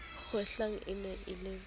kgwehlang e ne e le